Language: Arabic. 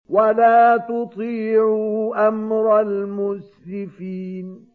وَلَا تُطِيعُوا أَمْرَ الْمُسْرِفِينَ